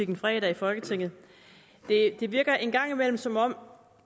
en fredag i folketinget det virker en gang imellem som om